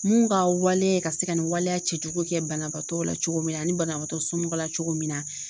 Mun ka waleya ka se ka nin waleya cɛjugu kɛ banabaatɔ la cogo min na ani banabagatɔ somɔgɔw la cogo min na